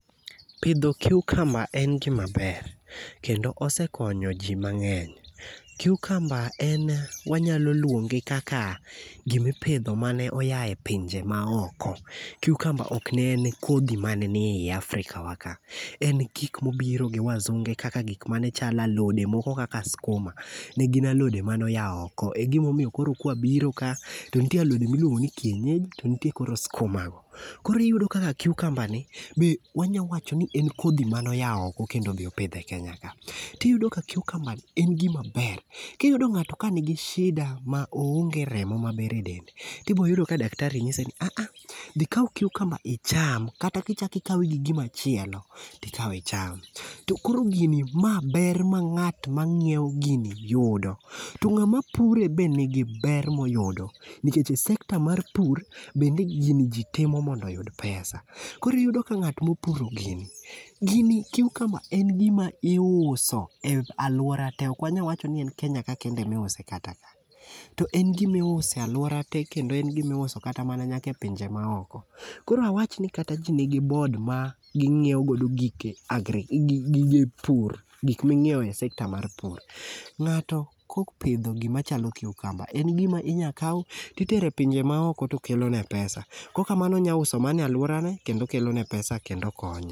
Pidho cucumber en gima ber kendo osekonyo ji mang'eny. Cucumber en wanyalo luonge kaka gimipidho mane oya e pinje maoko, cucumber ok ne en kodhi mane nie Afrika wa ka. En gikmobiro gi wazunge kaka gik mane chalo alode moko kaka skuma ne gin alode manoya oko e gimomiyo koro kwabiro ka to nitie alode moko miluongo ni kienyeji to ntie koro skumago. Koro iyudo kaka cucumberni be wanya wacho ni en kodhi manoya oko kendo obi opidhe e Kenya ka. Tiyudo ka cucumber ni en gimaber kiyudo ng'ato kanigi shida ma oonge remo maber edende tiboyudo ka daktari ng'ise ni aah, dhi ikaw cucumber icham kata kichaki ikawe gi gimachielo tikawe icham. To koro gini maber ma ng'at mang'ieo gini yudo to ng'ama pure be nigi ber moyudo nikeche sekta mar pur bende gini ji timo mondo oyud pesa koro iyudo ka ng'atmopuro gini cucumber en gima iuso e alwora te ok wanyawacho ni en Kenya ka kende emiuse kata ka to en gimiuse alwora te kendo en gimiuso kata mana nyaka e pinje maoko. Koro awachni kata ji ni gi board ma ging'iewo godo gige pur gik ming'iewo e sekta mar pur. Ng'ato kopidho gimachalo cucumber en gima inyakaw titere pinje maoko to kelone pesa kokamano onya use mane alworane kendo kelone pesa kendo konye.